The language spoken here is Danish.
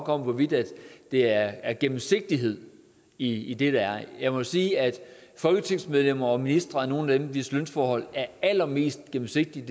om hvorvidt der er gennemsigtighed i det der er jeg må sige at folketingsmedlemmer og ministre er nogle af dem hvis lønforhold er allermest gennemsigtige